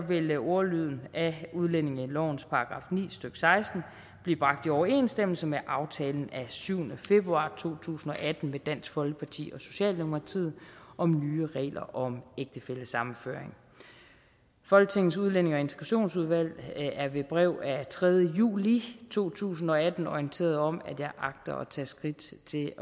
vil ordlyden af udlændingelovens § ni stykke seksten bliver bragt i overensstemmelse med aftalen af syvende februar to tusind og atten med dansk folkeparti og socialdemokratiet om nye regler om ægtefællesammenføring folketingets udlændinge og integrationsudvalg er ved brev af tredje juli i to tusind og atten orienteret om at jeg agter at tage skridt til